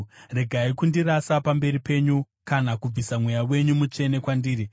Regai kundirasa pamberi penyu kana kubvisa Mweya wenyu Mutsvene kwandiri.